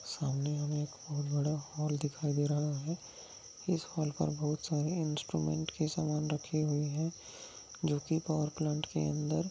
सामने हमे एक बहुत बड़ा हॉल दिखाई दे रहा है इस हॉल पर बहुत सारे इन्स्ट्रुमेंट के सामान रखे हुए है जो की पावर प्लांट के अंदर--